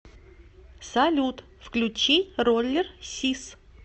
салют включи роллер сис